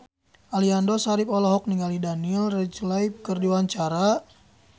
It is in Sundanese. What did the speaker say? Aliando Syarif olohok ningali Daniel Radcliffe keur diwawancara